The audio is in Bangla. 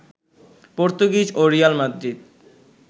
পর্তুগিজ ও রিয়াল মাদ্রিদ